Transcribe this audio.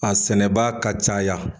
A sɛnɛbaa ka caya